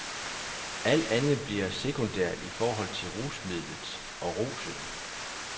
Alt andet bliver sekundært i forhold til rusmidlet og rusen.